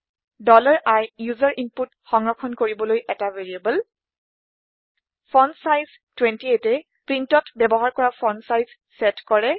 i ওচেৰ input সংৰক্ষন কৰিবলৈ ১টা ভেৰিয়েবল ফন্টছাইজ 28এ প্ৰীন্টত ব্যৱহাৰ কৰা ফন্ট চাইজ চেট কৰে